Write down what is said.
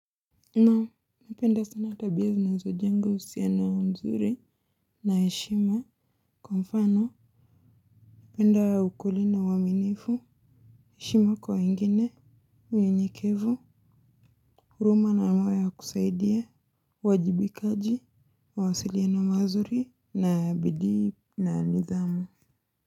Naam, napenda sana tabia zinazo jenga uhusiano mzuri, na heshima, kwa mfano, napenda ukweli na uaminifu heshima kwa wengine, unyenyekevu, huruma na moyo ya kusaidia, uwajibikaji, mawasiliano mazuri, na bidii na nidhamu.